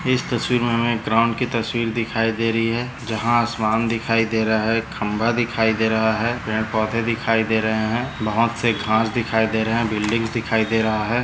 इस तस्वीर मे हमे ग्राउंड की तस्वीर दिखाई दे रही है जहा आसमान दिखाई दे रहा है खंबा दिखाई दे रहा है पेड़ पौधे दिखाई दे रहे है बहुत से घास दिखाई दे रहे है बिल्डिंग्स दिखाई दे रहा है।